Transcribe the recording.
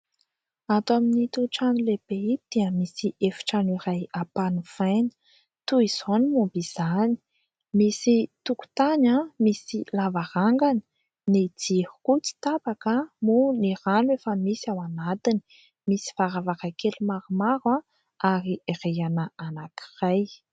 Ato amin'ito trano lehibe ito dia misy efi-trano iray ampanofaina. Toy izao ny momba izany : misy tokotany, misy lavarangana ; ny jiro ihany koa tsy tapaka moa ny rano efa misy ao anatiny ; misy varavarankely maromaro ary rihana anankiray.